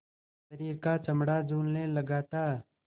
शरीर का चमड़ा झूलने लगा था